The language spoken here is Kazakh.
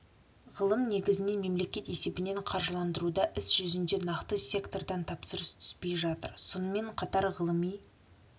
ғылым негізінен мемлекет есебінен қаржыландырылуда іс жүзінде нақты сектордан тапсырыс түспей жатыр сонымен қатар ғылыми